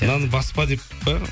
мынаны баспа деп пе